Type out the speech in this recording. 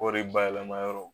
Kɔri bayɛlɛma yɔrɔw